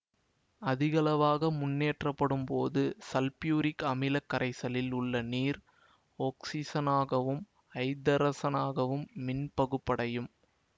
அதிகளவாக மின்னேற்றப்படும் போது சல்பூரிக் அமில கரைசலில் உள்ள நீர் ஒக்சிசனாகவும் ஐதரசனாகவும் மின்பகுப்படையும்